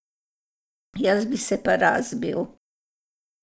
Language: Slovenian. Jaz bi se pa razbil.